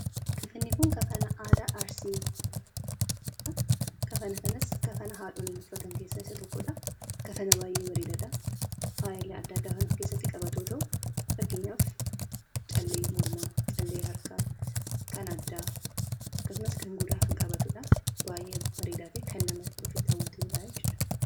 Kafanni kun kafana aadaa Arsiiti. Kafana kanas kafana haadholiin uffatan keessaa isa tokkodha. Kafana baay'ee bareedaadha! Faayila adda addaa kan of keessatti qabatu yoo ta'u, fakkeenyaaf callee mormaa, callee harkaa, kan addaa akkasumas kan gurraa kan qabatudha. Baay'ee bareedaa fi kan namatti hawwatudha jechuudha.